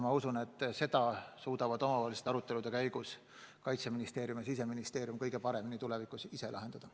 Ma usun, et selle suudavad omavaheliste arutelude käigus Kaitseministeerium ja Siseministeerium kõige paremini ise lahendada.